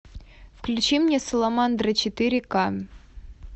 включи мне саламандра четыре к